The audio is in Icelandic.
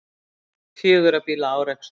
Fjögurra bíla árekstur